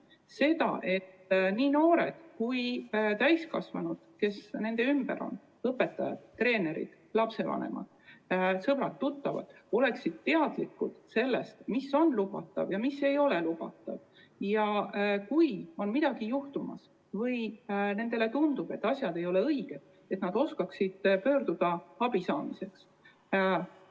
Seda, et nii noored kui ka täiskasvanud, kes nende ümber on , oleksid teadlikud sellest, mis on lubatud ja mis ei ole lubatud, ja et kui midagi on juhtumas või nendele tundub, et asjalood ei ole õiged, siis nad teaksid, kuhu abi saamiseks pöörduda.